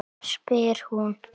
spyr hún.